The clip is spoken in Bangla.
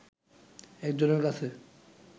একজনের কাছে